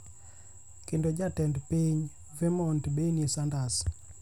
kendo Jatend piny Vermont Bernie Sanders.